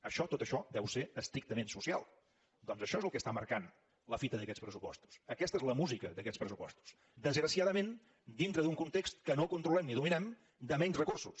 això tot això deu ser estrictament social doncs això és el que està marcant la fita d’aquests pressupostos aquesta és la música d’aquests pressupostos desgraciadament dintre d’un context que no controlem ni dominem de menys recursos